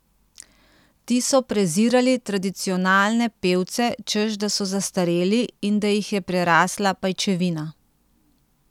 Ti so prezirali tradicionalne pevce, češ da so zastareli in da jih je prerasla pajčevina.